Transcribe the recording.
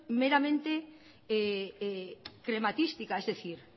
meramente crematística es decir